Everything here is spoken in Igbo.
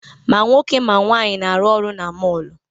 Ma nwoke ma nwaanyị na-arụ ọrụ na mọọlụ.